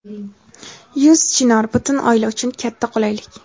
Yuz Chinor — butun oila uchun katta qulaylik!.